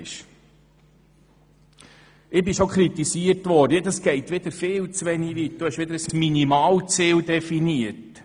Ich wurde schon kritisiert, der Vorstoss gehe viel zu wenig weit, und ich hätte wieder ein Minimalziel definiert.